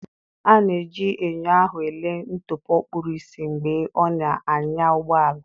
A na-eji enyo ahụ ele ntụpọ kpuru ìsì mgbe ọ na-anya ụgbọ ala.